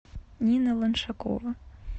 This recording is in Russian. нина ланшакова